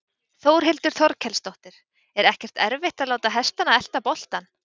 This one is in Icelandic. Þórhildur Þorkelsdóttir: Er ekkert erfitt að láta hestana elta boltann?